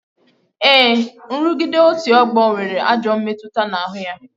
Ee, nrugide otu ọgbọ nwere ajọ mmetụta n'ahụ ya